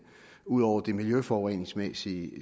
ud over det miljøforureningsmæssige